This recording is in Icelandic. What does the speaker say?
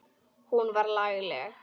Hún var lagleg.